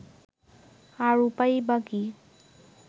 আর উপায়ই বা কী